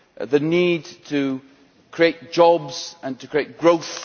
the need to create jobs and to create growth